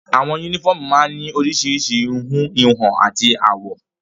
Àwọn únífọ́ọ́mù máa ń ní oríṣiríṣi ìhun, ìwọ̀n àti àwọ̀.